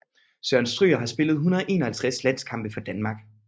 Søren Stryger har spillet 151 landskampe for Danmark